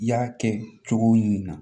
I y'a kɛ cogo min na